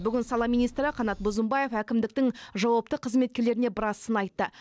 бүгін сала министрі қанат бозымбаев әкімдіктің жауапты қызметкерлеріне біраз сын айтты